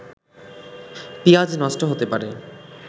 পিঁয়াজ নষ্ট হতে পারে